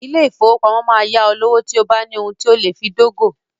Ilé-ìfowópamọ́ máa yá ọ lówó tí o bá ní ohun tí o lè fi dógò.